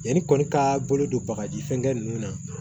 Yanni kɔni ka bolo don bagaji fɛnkɛ ninnu na